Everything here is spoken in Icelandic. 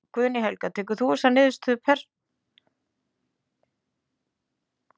Guðný Helga: Tekurðu þessa niðurstöðu persónulega?